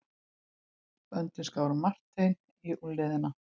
Böndin skáru Martein í úlnliðina.